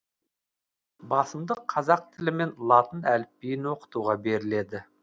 басымдық қазақ тілі мен латын әліпбиін оқытуға беріледі